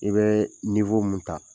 I bɛɛ mun ta